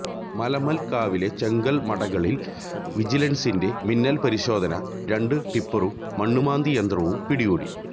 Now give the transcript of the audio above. മലമൽക്കാവിലെ ചെങ്കൽമടകളിൽ വിജിലൻസിന്റെ മിന്നൽ പരിശോധന രണ്ട് ടിപ്പറും മണ്ണുമാന്തിയന്ത്രവും പിടികൂടി